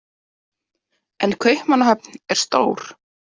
En Kaupmannahöfn er stór.